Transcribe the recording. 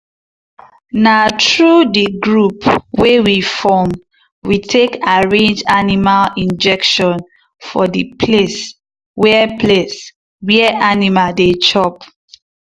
na through the group wey we form we take arrange animal injection for the place wer place wer animal dey chop.